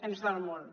ens dol molt